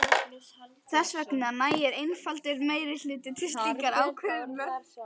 Þess vegna nægir einfaldur meirihluti til slíkrar ákvörðunar.